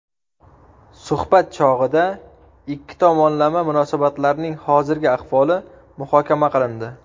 Suhbat chog‘ida ikki tomonlama munosabatlarning hozirgi ahvoli muhokama qilindi.